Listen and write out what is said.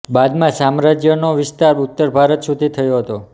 બાદમાં સામ્રાજ્યનો વિસ્તાર ઉત્તર ભારત સુધી થયો હતો